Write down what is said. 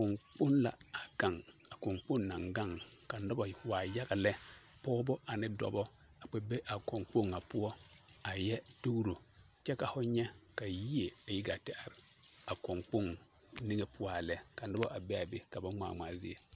Kɔŋkpoŋ la a gaŋ, a kɔŋkloŋ naŋ gaŋ ka noba waa yaga lɛ, pɔgebɔ ane dɔbɔ ka ba be a kɔnkpoŋ ŋa poɔ a yɛ dugiro kyɛ ka ho nyɛ ka yie a yi gaa te are ka kɔŋkpoŋ niŋe poɔ a lɛ ka noba a be a be ka ba ŋmaa ŋmaa zie.